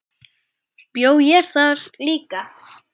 Bjó ég þar líka?